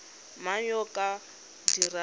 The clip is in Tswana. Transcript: mang yo o ka dirang